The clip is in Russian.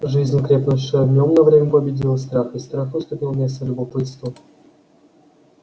жизнь крепнущая в нём на время победила страх и страх уступил место любопытству